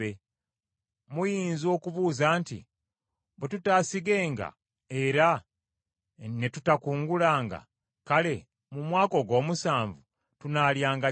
Muyinza okubuuza nti, ‘Bwe tutaasigenga era ne tutakungulanga, kale mu mwaka ogw’omusanvu tunaalyanga ki?’